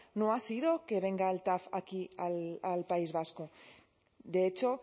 no ha sido que venga al tav aquí al país vasco de hecho